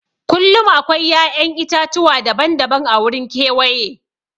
Kullum akwai ya'yan itatuwa daban-daban a wurin kewaye.